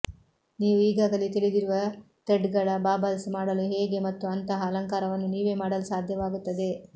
ನೀವು ಈಗಾಗಲೇ ತಿಳಿದಿರುವ ಥ್ರೆಡ್ಗಳ ಬಾಬಲ್ಸ್ ಮಾಡಲು ಹೇಗೆ ಮತ್ತು ಅಂತಹ ಅಲಂಕಾರವನ್ನು ನೀವೇ ಮಾಡಲು ಸಾಧ್ಯವಾಗುತ್ತದೆ